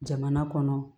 Jamana kɔnɔ